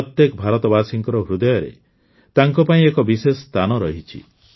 ପ୍ରତ୍ୟେକ ଭାରତବାସୀଙ୍କ ହୃଦୟରେ ତାଙ୍କପାଇଁ ଏକ ବିଶେଷ ସ୍ଥାନ ରହିଛି